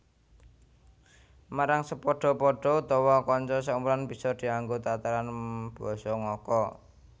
Marang sepadha padha utawa kanca saumuran bisa dianggo tataran basa ngoko